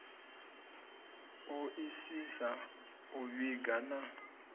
o isisa u vhiga na